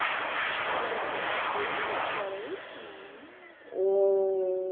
Você lembra que que ano que era isso, mais ou menos? Oh